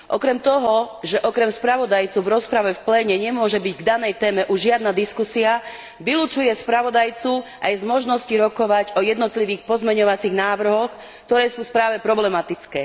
Okrem toho, že okrem spravodajcu v rozprave už v pléne nemôže byť k danej téme žiadna diskusia, vylučuje spravodajcu aj z možnosti rokovať o jednotlivých pozmeňujúcich návrhoch, ktoré sú v správe problematické.